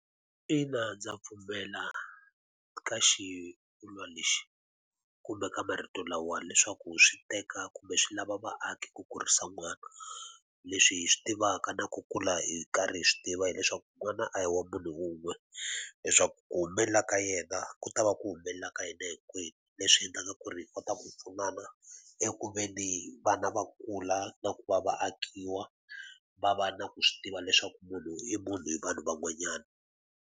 Ina ndza pfumela ka xivulwa lexi, kumbe ka marito lawa leswaku swi teka kumbe swi lava vaaki ku kurisa n'wana. Leswi hi swi tivaka na ku kula hi karhi hi swi tiva hileswaku n'wana a hi wa munhu wun'we, leswaku ku humelela ka yena ku ta va ku humelela ka yena hinkwenu. Leswi endlaka ku ri hi kota ku pfunana eku ve ni vana va kula na ku va vatekiwa, va va na ku swi tiva leswaku munhu i munhu hi vanhu van'wanyana.